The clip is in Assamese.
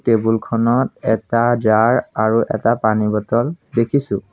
টেবুল খনত এটা জাৰ আৰু এটা পানী বটল দেখিছোঁ।